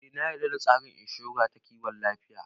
Eh na yarda da tsarin inshora ta kiwon lafiya